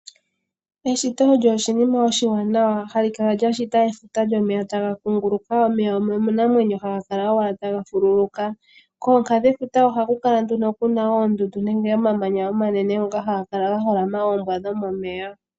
Eshito olyo oshinima oshiwanawa, hali kala lya shita efuta lyomeya taga kunguluka. Omeya omanamwenyo haga kala owala taga fululuka. Kooha dhefuta ohaku kala nduno kuna oondundu, nenge omamanya omanene, ngoka haga kala ga holama oombwa dhomomeya.